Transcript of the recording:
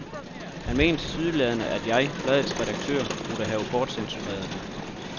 Han mener tilsyneladende, at jeg, bladets redaktør, burde have bortcensureret den.